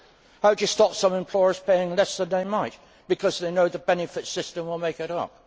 How do you stop some employers paying less than they might because they know the benefit system will make it up?